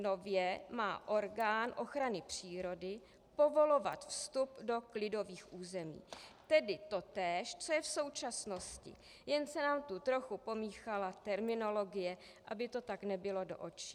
Nově má orgán ochrany přírody povolovat vstup do klidových území, tedy totéž, co je v současnosti, jen se nám tu trochu pomíchala terminologie, aby to tak nebilo do očí.